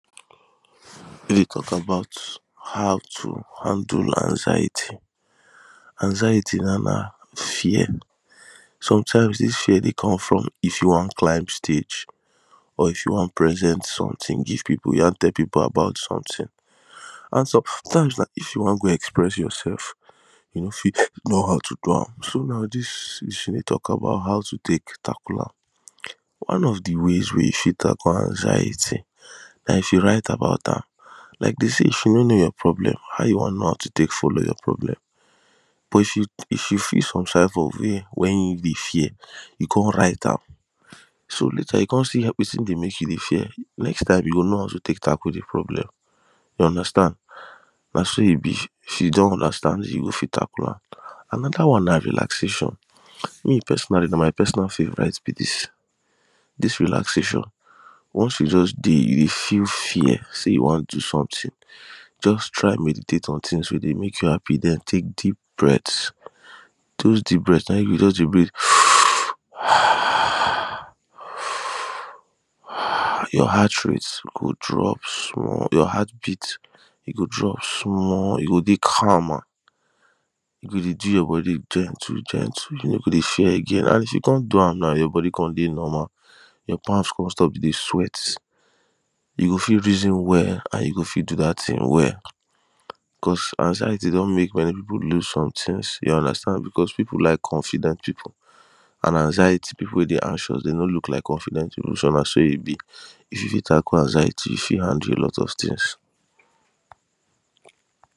E dey tok about how to handle anxiety. Anxiety now na fear sometimes dis fear dey come from if you wan climb stage or if you wan present sometin give people or you wan tell people about sometin an sometimes if you wan go dey express yoursef you no fit know how to do am so dis tin dey talk about how to tek tackle am One of the ways wey you fit tackle anxiety na if you write about am like dem say if you no know your problem how you wan tekknow how to tek follow your problem but if you feel some type of way wen you dey fear come write am so you come see how person dey mek you dey fear next time you go know how to tackle de problem you understand na so e be. If you don understand you go fit tackle am. Anoda one na relaxation me personally na my personal favourite be dis. dis relaxation once you don dey you go feel yeah say you wan do sometin just try meditate on tins wey dey mek you happy then take deep breats, your heart rate go drop e go drop small your heart beat go drop small you go dey calm you go dey do your body gentle gentle you no go dey fear again and if you come do am now your body come dey normal your palm come stop to dey sweat you go fit reason well and you go fit do dat tin well cause anxiety don mek many people loose some tins you understand becos people like consisder people and anxiety people wey dey anxious dey no dey look like confident people eh na so e be. If you fit tackle anxiety na so e be you fit handle alot of tins